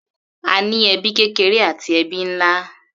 A ní ẹbí kékeré àti ẹbí nlá.